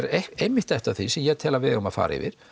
einmitt eitt af því sem ég tel að við eigum að fara yfir